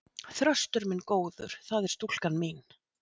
Þröstur minn góður, það er stúlkan mín.